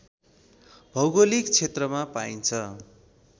भौगोलिक क्षेत्रमा पाइन्छ